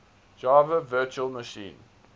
java virtual machine